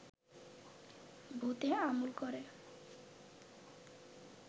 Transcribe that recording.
ভূতে আমল করে